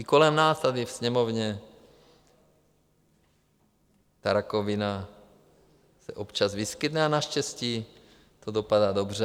I kolem nás tady ve Sněmovně ta rakovina se občas vyskytne a naštěstí to dopadá dobře.